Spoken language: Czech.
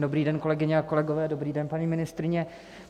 Dobrý den, kolegyně a kolegové, dobrý den, paní ministryně.